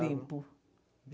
Limpo.